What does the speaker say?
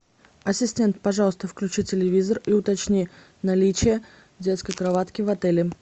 ассистент пожалуйста включи телевизор и уточни наличие детской кроватки в отеле